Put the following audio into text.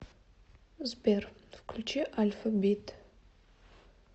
сбер включи альфабит